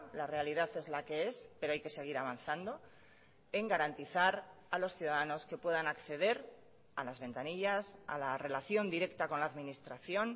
la realidad es la que es pero hay que seguir avanzando en garantizar a los ciudadanos que puedan acceder a las ventanillas a la relación directa con la administración